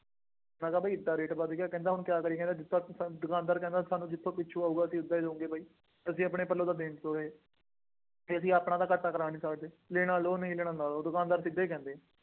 ਮੈਂ ਕਿਹਾ ਬਈ ਐਨਾ ਰੇਟ ਵੱਧ ਗਿਆ। ਕਹਿੰਦਾ ਹੁਣ ਕਿਆ ਕਰੀਏ, ਦਿੱਤਾ ਦੁੱਤਾ ਨਹੀਂ, ਦੁਕਾਨਦਾਰ ਕਹਿੰਦਾ ਸਾਨੂੰ ਜਿਦਾਂ ਪਿੱਛੋਂ ਆਊਗਾ ਅਸੀਂ ਓਦਾਂ ਹੀ ਦੇਵਾਗੇ ਬਾਈ, ਅਸੀਂ ਆਪਣੇ ਪੱਲੇ ਤੋਂ ਤਾਂ ਦੇਣ ਤੋਂ ਰਹੇ ਅਤੇ ਅਸੀਂ ਆਪਣਾ ਤਾਂ ਘਾਟਾ ਖਾ ਨਹੀਂ ਸਕਦੇ, ਲੈਣਾ ਲਉ ਨਹੀਂ ਲੈਣਾ ਨਾ ਲਉ, ਦੁਕਾਨਦਾਰ ਸਿੱਧਾ ਹੀ ਕਹਿੰਦੇ ਆ।